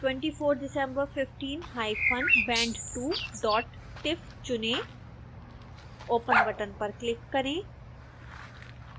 24december15 hyphen band2 dot tif चुनें open button पर click करें